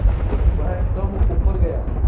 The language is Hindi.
वह कब ऊपर गया